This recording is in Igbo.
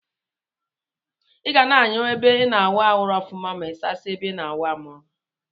Iga na anyacha ebe ina awụ arụ ọfụma ma isasie ebe ina awụ amrụ.